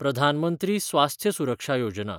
प्रधान मंत्री स्वास्थ्य सुरक्षा योजना